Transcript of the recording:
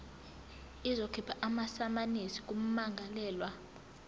izokhipha amasamanisi kummangalelwa